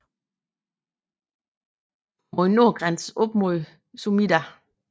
Mod nord grænses op mod Sumida